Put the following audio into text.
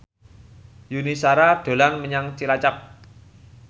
Yuni Shara dolan menyang Cilacap